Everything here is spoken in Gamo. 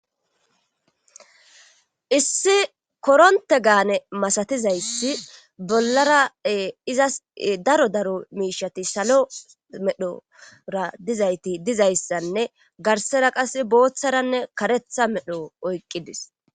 issi koronte gaane masatizayssi bollara izas daro daro miishati salo medhora dizayti dizayssanne garsera qas booththaranne karetha medho oyqqidis